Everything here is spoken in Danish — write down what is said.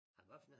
Ahva for noget?